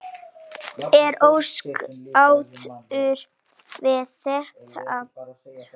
Ertu ósáttur við þetta?